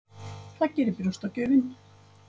Það gerir brjóstagjöfin.